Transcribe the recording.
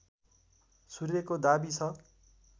सूर्यको दाबी छ